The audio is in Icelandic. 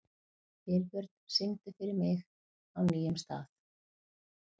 Vilbjörn, syngdu fyrir mig „Á nýjum stað“.